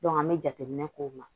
an be jateminɛ k'o ma